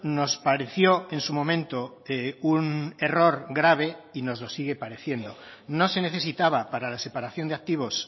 nos pareció en su momento un error grave y nos lo sigue pareciendo no se necesitaba para la separación de activos